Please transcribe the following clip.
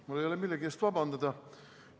Mul ei ole millegi eest vabandust paluda.